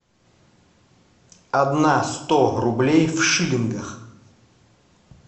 одна сто рублей в шиллингах